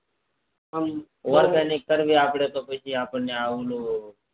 કરવી આપડે પછી ઓલું